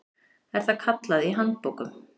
er það kallað í handbókum.